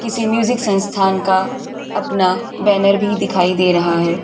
किसी म्यूजिक संसथान का अपना बैनर भी दिखाई दे रहा है।